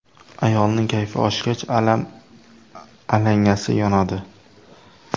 Ayolning kayfi oshgach, alam alangasi yonadi.